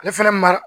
Ale fɛnɛ mara